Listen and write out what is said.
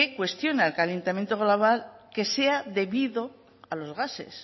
cuestiona el calentamiento global que sea debido a los gases